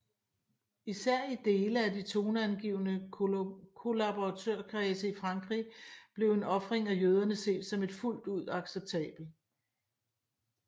Især i dele af de toneangivende kollaboratørkredse i Frankrig blev en ofring af jøderne set som et fuldt ud acceptabel